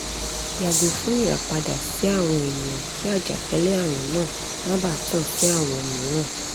yago fun irapada si awọn eniyan ki ajakalẹ-arun naa ma baa tan si awọn miiran